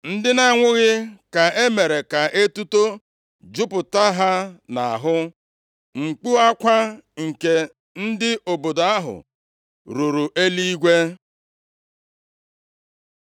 Ndị na-anwụghị ka e mere ka etuto jupụta ha nʼahụ, mkpu akwa nke ndị obodo ahụ ruru eluigwe.